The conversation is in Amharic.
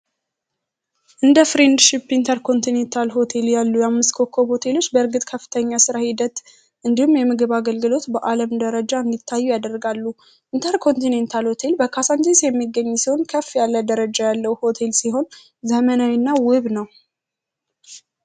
እንደ ፍሬንድ ሽፕ ያሉ ኢንተርኮንቲኔንታል ባለ አምስት ኮኮብ ሆቴሎች በእድገት ከፍተኛ ሂደት እንዲሁም በአለም ደረጃ እንዲታዩ ያደርጋሉ። ኢንተርኮንቲኔንታል ሆቴል በካዛንቺስ የሚገኝ ሲሆን ከፍ ያለ ደረጃ ያለው ሆቴል ሲሆን ዘመናዊ እና ውብ ነው።